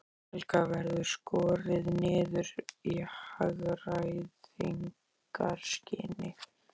Helga: Verður skorið niður í hagræðingarskyni?